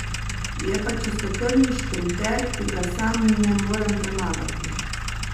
Je pa čistokrvni šprinter, ki ga sam ne morem premagati.